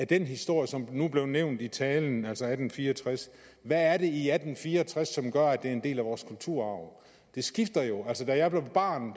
den historie som nu blev nævnt i talen altså om atten fire og tres hvad er det i atten fire og tres som gør at det er en del af vores kulturarv det skifter jo altså da jeg var barn